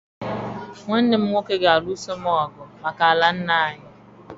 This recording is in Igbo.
Nwanne m nwoke ga-alụso m ọgụ maka ala nna anyị